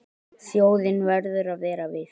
Þjóðin verður að vera virk.